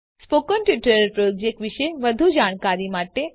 spoken tutorial project વિશે વધુ જાણકારી માટે